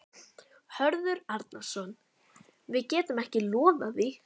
Hörður Arnarson: Við getum ekki lofað því?